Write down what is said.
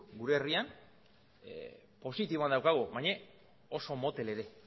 gure herrian positiboan daukagu baina oso motel ere